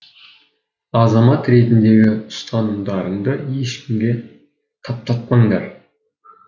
азамат ретіндегі ұстанымдарыңды ешкімге таптатпаңдар